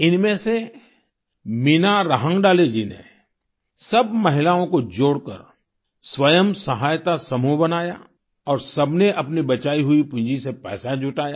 इनमें से मीना राहंगडाले जी ने सब महिलाओं को जोड़कर स्वयं सहायता समूह बनाया और सबने अपनी बचाई हुई पूंजी से पैसा जुटाया